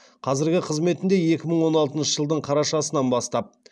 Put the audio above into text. қазіргі қызметінде екі мың он алтыншы жылдың қарашасынан бастап